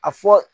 A fɔ